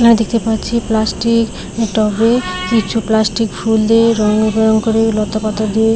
আ -- দেখতে পাচ্ছি প্লাস্টিক টবে কিছু প্লাস্টিক ফুল দিয়ে রং বং করে লতাপাতা দিয়ে-